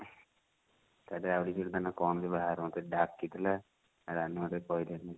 କଣ ଯେ ବାହାଘର କୁ ମୋତେ ଡ଼ାକିଥିଲା ରାନୀ ମୋତେ କହିଲାନି